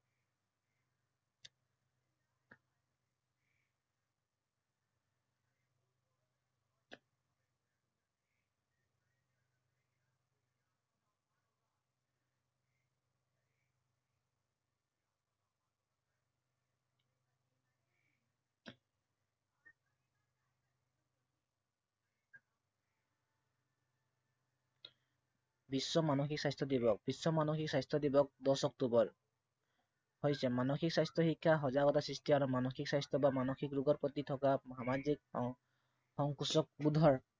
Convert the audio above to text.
বিশ্ব মানসিক স্বাস্থ্য় দিৱস- বিশ্ব মানসিক স্বাস্থ্য় দিৱস দহ অক্টোবৰ হৈছে মানসিক স্বাস্থ্য় শিক্ষা, সজাগতা সৃষ্টি আৰু মানসিক স্বাস্থ্য় বা মানসিক ৰোগৰ প্ৰতি থকা সামাজিক সংকোচবোধৰ